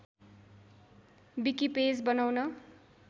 wiki page बनाउन